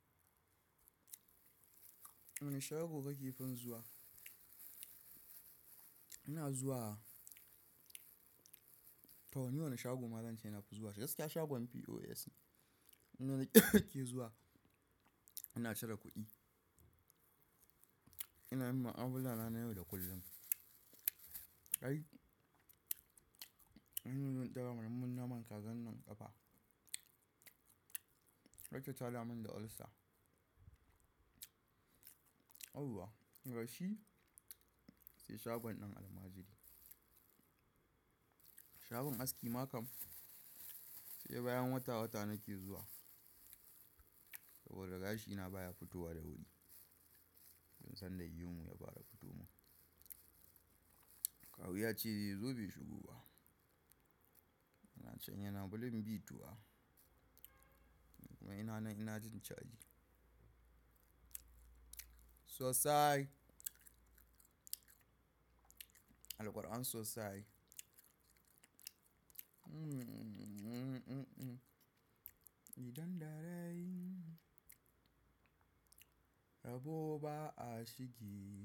Wane shago kake fi zuwa? Ina zuwa. To ni wane shago malalce ina fi zuwa shi, gaskiya shagon POS ne. Ina ke zuwa, ina cire kuɗi. Ina yi ma abulana na yau da kullum. Ai, an yi don ɗaga mun naman kazan nan ƙafa. Yake ta da mun da ulcer. Yauwa! Ga shi, sai shagon ɗin almajiri. Shagon aski ma kam, sai bayan wata-wata nake zuwa. Saboda gashi na baya fitowa da wuri. Tun sanda yiwun ya fara fitowa. Kawu ya ce ze zo be shigo ba. Ina can yana bulin biyu tuwa. Kuma ina na, ina jin caji. Sosai. Alquran sosai. Idon dare abubuwa a shigi.